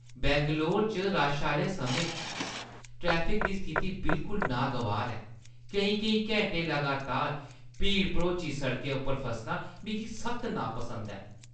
बैंगलोर च रश आह्‌ले समें च ट्रैफिक दी स्थिति बिल्कुल नागवार ऐ। केईं-केईं घैंटे लगातार भीड़-भरोची सड़कें उप्पर फसना मिगी सख्त नापसंद ऐ।